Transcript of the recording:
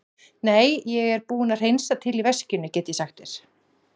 Nei, ég er búinn að hreinsa til í veskinu, get ég sagt þér.